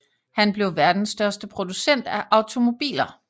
Han blev verdens største producent af automobiler